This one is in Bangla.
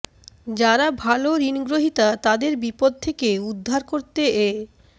যারা ভালো ঋণগ্রহিতা তাদের বিপদ থেকে উদ্ধার করতে এ